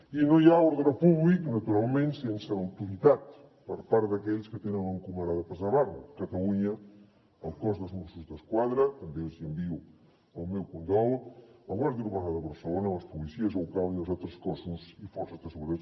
i no hi ha ordre públic naturalment sense l’autoritat per part d’aquells que tenen encomanat de preservar lo a catalunya el cos dels mossos d’esquadra també els hi envio el meu condol la guàrdia urbana de barcelona les policies locals i els altres cossos i forces de seguretat